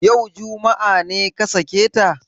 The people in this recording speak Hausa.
Yau, juma'a, ne ka sake ta?